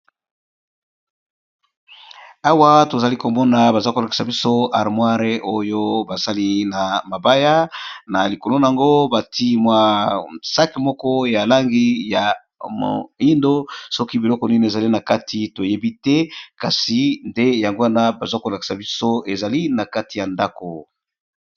Awa to zali ko mona baza ko lakisa biso armoire oyo ba sali na mabaya na likolo n'ango ba tié mwa sac moko ya langi ya moyindo soki biloko nini ezali na kati to yebi te kasi nde yango wana baza ko lakisa biso ezali na kati ya ndaku .